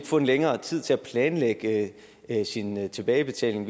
få længere tid til at planlægge sin tilbagebetaling